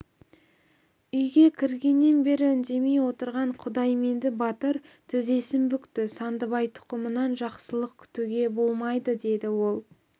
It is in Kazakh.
үйге кіргеннен бері үндемей отырған құдайменді батыр тізесін бүкті сандыбай тұқымынан жақсылық күтуге болмайды деді ол